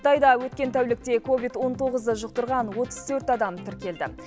қытайда өткен тәулікте ковид он тоғызды жұқтырған отыз төрт адам тіркелді